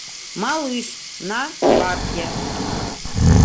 малыш на карте